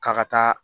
K'a ka taa